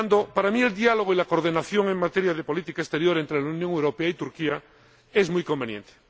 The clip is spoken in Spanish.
Para mí el diálogo y la coordinación en materia de política exterior entre la Unión Europea y Turquía son muy convenientes.